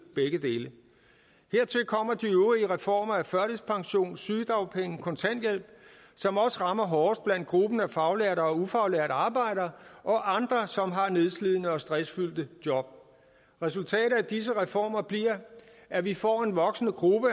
begge dele hertil kommer de øvrige reformer af førtidspension sygedagpenge kontanthjælp som også rammer hårdest blandt gruppen af faglærte og ufaglærte arbejdere og andre som har nedslidende og stressfyldte job resultatet af disse reformer bliver at vi får en voksende gruppe